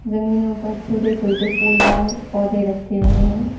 जमीनों पर छोटे छोटे फूलदार पौधे रखे हुए हैं।